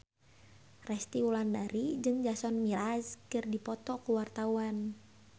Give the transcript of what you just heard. Resty Wulandari jeung Jason Mraz keur dipoto ku wartawan